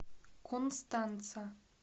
констанца